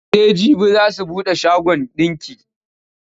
Sai jibi za su buɗe shagon ɗinki.